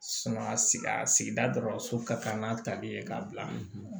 sigida sigida dɔrɔn so ka kan n'a tabiya ye ka bila